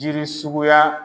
Jiri suguya